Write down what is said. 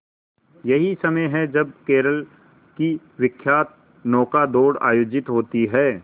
यही समय है जब केरल की विख्यात नौका दौड़ आयोजित होती है